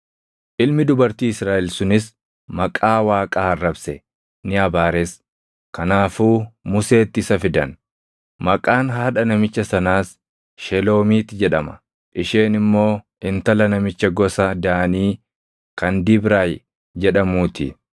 Ilmi dubartii Israaʼel sunis Maqaa Waaqaa arrabse; ni abaares; kanaafuu Museetti isa fidan. Maqaan haadha namicha sanaas Sheloomiit jedhama; isheen immoo intala namicha gosa Daanii kan Dibraayi jedhamuu ti.